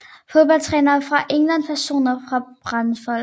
Fodboldtrænere fra England Personer fra Bradford